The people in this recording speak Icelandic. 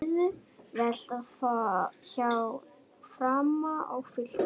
Auðvelt hjá Fram og Fylki